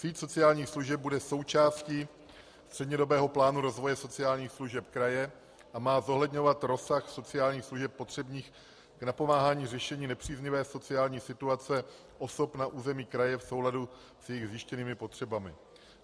Síť sociálních služeb bude součástí střednědobého plánu rozvoje sociálních služeb kraje a má zohledňovat rozsah sociálních služeb potřebných k napomáhání řešení nepříznivé sociální situace osob na území kraje v souladu s jejich zjištěnými potřebami.